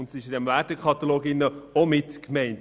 Diese sind mit diesem Wertekatalog auch mitgemeint.